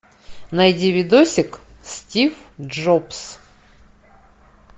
найди видосик стив джобс